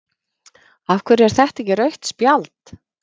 af hverju er þetta ekki rautt spjald?